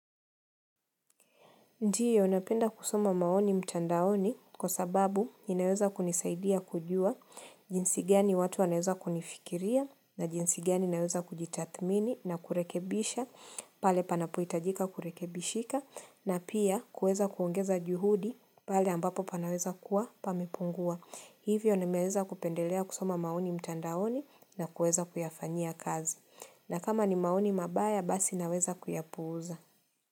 Ndio, napenda kusoma maoni mtandaoni kwa sababu, inaweza kunisaidia kujua, jinsi giani watu wanaweza kunifikiria, na jinsi giani naweza kujitathmini na kurekebisha, pale panapo hitajika kurekebishika, na pia kuweza kuongeza juhudi, pale ambapo panaweza kuwa, pamepungua. Hivyo, nimeweza kupendelea kusoma maoni mtandaoni na kueza kuyafanyia kazi. Na kama ni maoni mabaya, basi naweza kuyapuza.